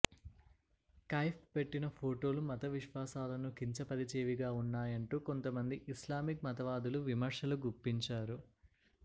కైఫ్ పెట్టిన ఫొటోలు మత విశ్వాసాలను కించ పరిచేవిగా ఉన్నాయంటూ కొంత మంది ఇస్లామిక్ మతవాదులు విమర్శలు గుప్పించారు